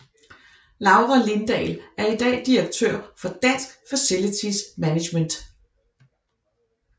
Laura Lindahl er i dag direktør for Dansk Facilities Management